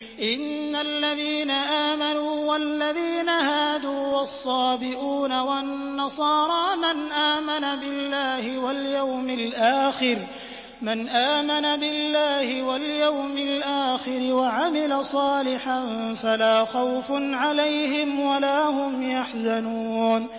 إِنَّ الَّذِينَ آمَنُوا وَالَّذِينَ هَادُوا وَالصَّابِئُونَ وَالنَّصَارَىٰ مَنْ آمَنَ بِاللَّهِ وَالْيَوْمِ الْآخِرِ وَعَمِلَ صَالِحًا فَلَا خَوْفٌ عَلَيْهِمْ وَلَا هُمْ يَحْزَنُونَ